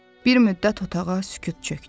Bir müddət otağa sükut çökdü.